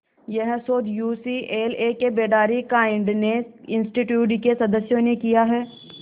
यह शोध यूसीएलए के बेडारी काइंडनेस इंस्टीट्यूट के सदस्यों ने किया है